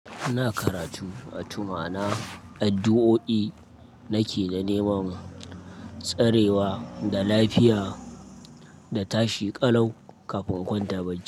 Ina karatu wato ma'ana, addu'o'i nake na neman tsarewa da lafiya da tashi ƙalau kafin in kwanta ba jiya.